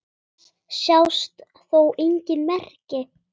Þess sjást þó engin merki.